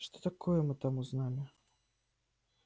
что такое мы там узнали